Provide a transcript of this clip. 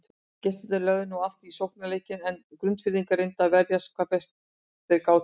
Gestirnir lögðu nú allt í sóknarleikinn en Grundfirðingar reyndu að verjast hvað best þeir gátu.